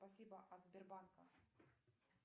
спасибо от сбербанка